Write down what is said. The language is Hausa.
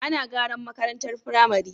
Ana garan makarantar pramari